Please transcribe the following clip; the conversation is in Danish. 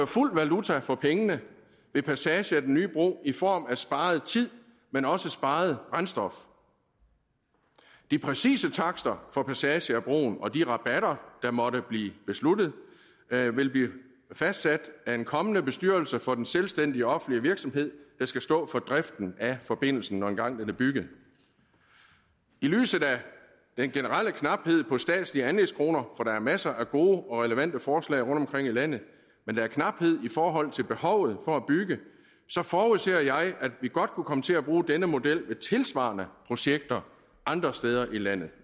fuld valuta for pengene ved passage af den nye bro i form af sparet tid men også sparet brændstof de præcise takster for passage af broen og de rabatter der måtte blive besluttet vil blive fastsat af en kommende bestyrelse for den selvstændige offentlige virksomhed der skal stå for driften af forbindelsen når denne engang er bygget i lyset af den generelle knaphed på statslige anlægskroner for der er masser af gode og relevante forslag rundtomkring i landet men der er knaphed i forhold til behovet for at bygge forudser jeg at vi godt kunne komme til at bruge denne model ved tilsvarende projekter andre steder i landet